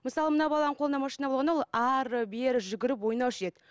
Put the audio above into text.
мысалы мына баланың қолында машина болғанда ол ары бері жүгіріп ойнаушы еді